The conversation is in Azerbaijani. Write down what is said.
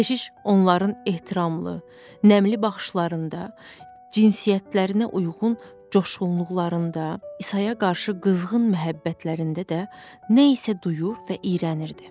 Keşiş onların ehtiramlı, nəmli baxışlarında, cinsiyyətlərinə uyğun coşğunluqlarında, İsaya qarşı qızğın məhəbbətlərində də nə isə duyur və iyrənirdi.